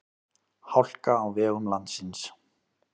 Hálka á vegum landsins